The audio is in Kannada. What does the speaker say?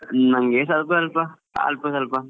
ನಮ್ಗೆ ಸ್ವಲ್ಪ ಸ್ವಲ್ಪ ಅಲ್ಪ ಸ್ವಲ್ಪ